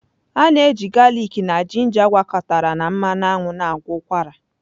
A na-eji galịk na ginger gwakọtara na mmanụ aṅụ na-agwọ ụkwara.